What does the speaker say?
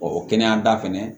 o kɛnɛya da fɛnɛ